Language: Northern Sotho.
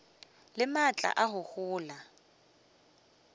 le maatla a go gola